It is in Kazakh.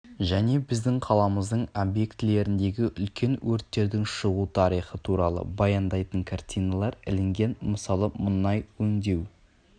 және біздің қаламыздың объектілеріндегі үлкен өрттердің шығу тарихы туралы баяндайтын картиналар ілінген мысалы мұнай өңдеу